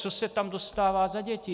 Co se tam dostává za děti.